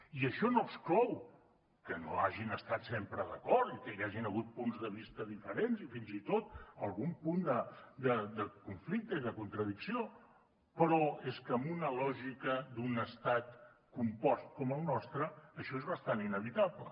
i això no exclou que no hagin estat sempre d’acord i que hi hagin hagut punts de vista diferents i fins i tot algun punt de conflicte i de contradicció però és que amb una lògica d’un estat compost com el nostre això és bastant inevitable